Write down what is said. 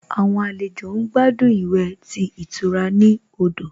Àwọn àlejò ń gbádùn ìwẹ̀ tí ìtura ní odò